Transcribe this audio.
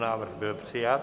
Návrh byl přijat.